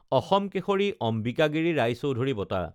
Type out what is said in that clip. অসম কেশৰী অম্বিকাগিৰি ৰায়চৌধুৰী বঁটা